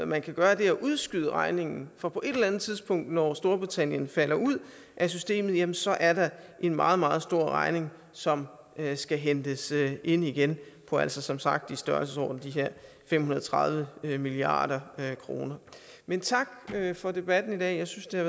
man kan gøre er at udskyde regningen for på et tidspunkt når storbritannien falder ud af systemet jamen så er der en meget meget stor regning som skal hentes ind igen på altså som sagt i størrelsesordenen fem hundrede og tredive milliard kroner men tak for debatten i dag jeg synes den